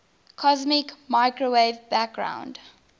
cosmic microwave background